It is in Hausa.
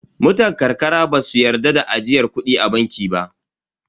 Mutan ƙarƙara ba su yarda da ajiyar kudi a banki ba.